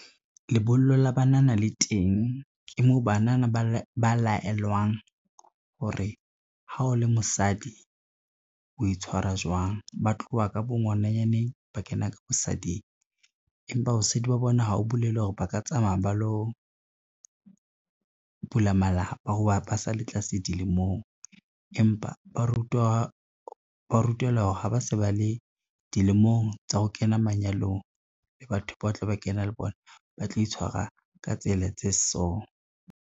Lebollo la banana le teng ke moo banana ba laelwang hore ha o le mosadi o itshwara jwang, ba tloha ka bo ngwananyane ba kena ka bosading, empa bosadi ba bona ha o bolele hore ba ka tsamaya ba lo bula malapa ho ba ba sa le tlase dilemong. Empa ba rutelwa hore ha ba se ba le dilemong tsa ho kena manyalong le batho ba tla ba kena le bona ba tlo itshwara ka tsela tse so.